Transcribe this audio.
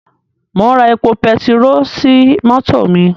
Mò ń ra epo pertiró sí mọ́tò mi.